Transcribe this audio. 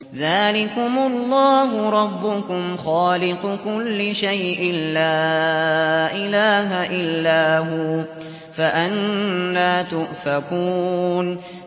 ذَٰلِكُمُ اللَّهُ رَبُّكُمْ خَالِقُ كُلِّ شَيْءٍ لَّا إِلَٰهَ إِلَّا هُوَ ۖ فَأَنَّىٰ تُؤْفَكُونَ